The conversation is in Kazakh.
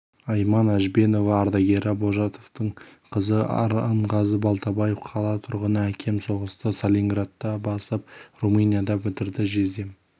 айман әжбенова ардагері божатовтың қызы арынғазы балтабаев қала тұрғыны әкем соғысты сталинградта бастап румынияда бітірді жездем